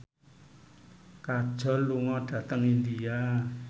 Kajol lunga dhateng India